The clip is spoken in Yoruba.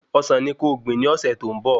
Ọsán ni ko gbìn ní ọ̀sẹ̀ tó ń bọ